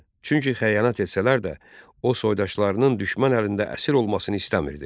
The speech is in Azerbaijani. Çünki xəyanət etsələr də, o, soydaşlarının düşmən əlində əsir olmasını istəmirdi.